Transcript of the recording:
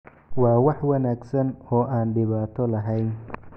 waa wax wanaagsan oo aan dhibaato lahayn